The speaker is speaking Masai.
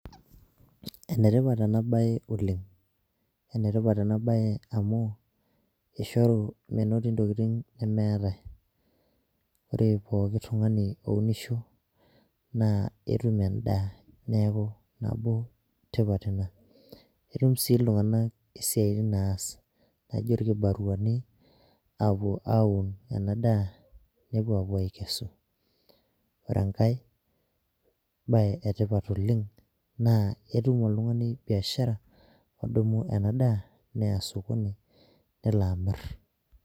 Ene tipat ena bae oleng, ene tipat ena bae amu, eishoru menotito ntokitin nemeetae, ore pooki tungani ounisho naa etum edaa. neeku nabo tipat Ina. etum sii iltunganak isiatin naas naijo ilkibaruani, aapuo aun ena daa, nepuo apuo aikesu. ore enkae bae etipat oleng naa etum oltungani biashara odumu ena daa, neya sokoni nelo amir,